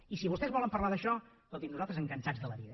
i si vostès volen parlar d’això escolti’m nosaltres encantats de la vida